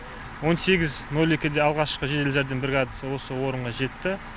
он сегіз нөл екіде алғашқы жедел жәрдем бригадасы осы орынға жетті